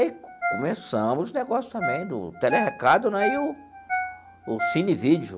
E aí começamos o negócio também do tele recado né e o o cine vídeo.